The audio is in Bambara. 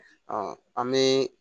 an bɛ